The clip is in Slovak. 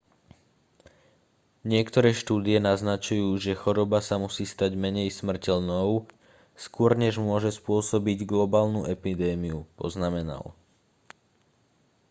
niektoré štúdie naznačujú že choroba sa musí stať menej smrteľnou skôr než môže spôsobiť globálnu epidémiu poznamenal